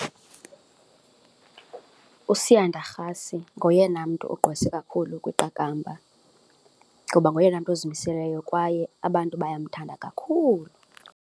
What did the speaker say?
USiyanda Rasi ngoyena mntu gqwese kakhulu kwiqakamba ngoba ngoyena mntu ozimiselweyo kwaye abantu baye wamthanda kakhulu.